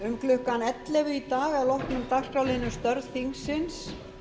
um klukkan ellefu í dag að loknum dagskrárliðnum störf þingsins